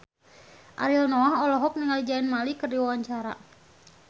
Ariel Noah olohok ningali Zayn Malik keur diwawancara